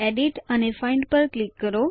edit અને find પર click કરો